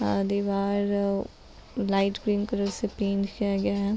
और दीवार light green colour से पेंट किया गया है |